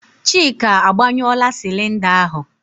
Chika, agbanyụọla sịlịnda ahụ?